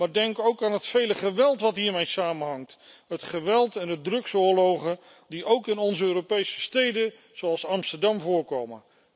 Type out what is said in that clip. Maar denk ook aan het vele geweld dat hiermee samenhangt. Het geweld en de drugsoorlogen die ook in onze Europese steden zoals Amsterdam voorkomen.